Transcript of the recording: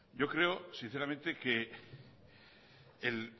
yo creo sinceramente que el